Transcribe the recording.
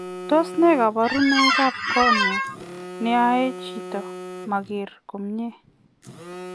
Tos nee kabarunoik ap kornea neyae chitoo makeree komie